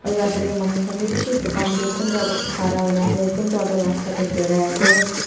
edu rasta de manu khan bhi bishi dukan de kunuba tu khara hoi na ase kunuba toh rasta birai ase.